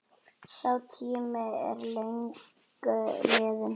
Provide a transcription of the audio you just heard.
Sá tími er löngu liðinn.